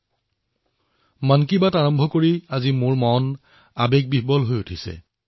আজিৰ মন কী বাত আৰম্ভ কৰিবলৈ গৈ মন দুখেৰে ভৰি পৰিছে